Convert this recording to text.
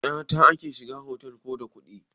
Kyata ake shiga otal ko da kuɗi?